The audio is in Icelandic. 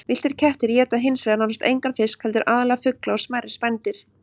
Villtir kettir éta hins vegar nánast engan fisk heldur aðallega fugla og smærri spendýr.